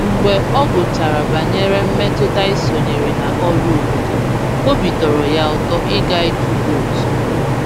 Mgbe ọ gụchàrà banyere mmetụta ịsonyere na ọrụ obodo, obi tọrọ ya ụtọ ịga ịtụ vootu